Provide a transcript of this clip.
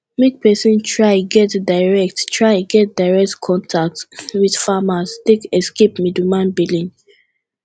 make persin try get direct try get direct contact with farmer take escape middleman billing